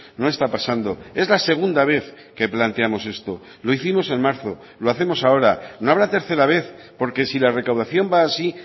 no está pasando es la segunda vez que planteamos esto lo hicimos en marzo lo hacemos ahora no habrá tercera vez porque si la recaudación va así